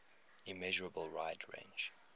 immeasurable wide range